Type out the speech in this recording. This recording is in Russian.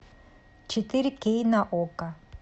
четыре кей на окко